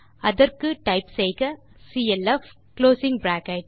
அதற்கு டைப் செய்க clf